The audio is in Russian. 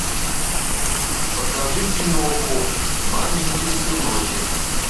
покажи киноху маменькин сыночек